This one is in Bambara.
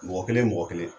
Mɔgɔ kelen mɔgɔ kelen